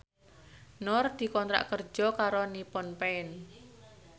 Nur dikontrak kerja karo Nippon Paint